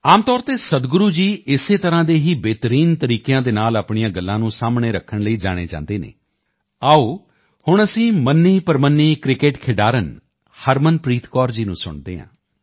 ਆਮ ਤੌਰ ਤੇ ਸਦਗੁਰੂ ਜੀ ਇਸੇ ਤਰ੍ਹਾਂ ਦੇ ਹੀ ਬਿਹਤਰੀਨ ਤਰੀਕੇ ਨਾਲ ਆਪਣੀਆਂ ਗੱਲਾਂ ਨੂੰ ਸਾਹਮਣੇ ਰੱਖਣ ਲਈ ਜਾਣੇ ਜਾਂਦੇ ਹਨ ਆਓ ਹੁਣ ਅਸੀਂ ਮੰਨੇਪ੍ਰਮੰਨੇ ਕ੍ਰਿਕੇਟ ਖਿਡਾਰਨ ਹਰਮਨਪ੍ਰੀਤ ਕੌਰ ਜੀ ਨੂੰ ਸੁਣਦੇ ਹਾਂ